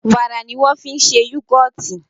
wàrà ní wan fí ṣe yugọti